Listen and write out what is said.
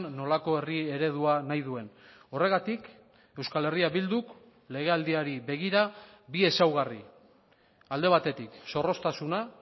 nolako herri eredua nahi duen horregatik euskal herria bilduk legealdiari begira bi ezaugarri alde batetik zorroztasuna